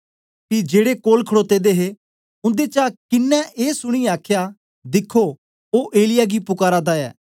पी जेड़े कोल खडोते दे हे उन्देचा किनें ऐ सुनीयै आखया दिखो ओ एलिय्याह गी पुकारा दा ऐ